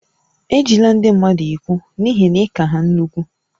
Ejila ndị mmadụ egwu n'ihi na ị ka ha nnukwu